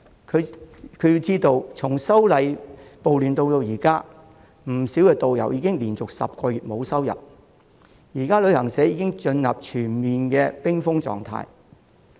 他須知道從反修例暴亂至今，不少導遊已經連續10個月沒有收入，現時旅行社已經進入全面冰封狀態。